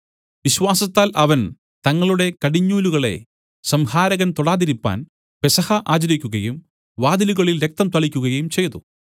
വിശ്വാസത്താൽ അവൻ തങ്ങളുടെ കടിഞ്ഞൂലുകളെ സംഹാരകൻ തൊടാതിരിപ്പാൻ പെസഹ ആചരിക്കുകയും വാതിലുകളിൽ രക്തംതളിക്കുകയും ചെയ്തു